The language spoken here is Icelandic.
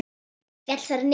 Féll þar niður.